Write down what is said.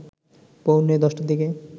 পৌনে ১০টার দিকে